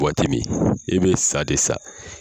Wagati min i bɛ sa de sa.